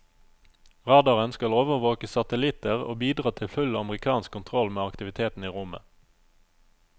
Radaren skal overvåke satellitter og bidra til full amerikansk kontroll med aktiviteten i rommet.